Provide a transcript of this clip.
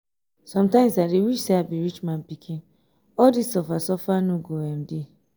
sometimes i dey wish say i be rich man pikin all dis suffer suffer no um go dey